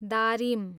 दारिम